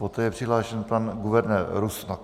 Poté je přihlášen pan guvernér Rusnok.